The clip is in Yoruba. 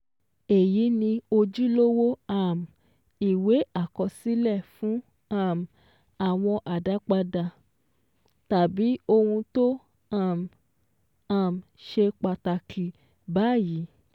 Èyí ni ojúlówó um ìwé àkọsílẹ̀ fún um àwọn àdápadà, tàbí ohun tó um um ṣe pàtàkì báyìí